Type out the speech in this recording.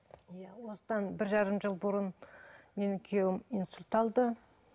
осыдан бір жарым жыл бұрын менің күйеуім инсульт алды